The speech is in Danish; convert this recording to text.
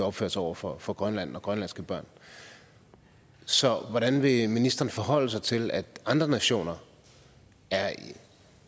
opført sig over for for grønland og grønlandske børn så hvordan vil ministeren forholde sig til at andre nationer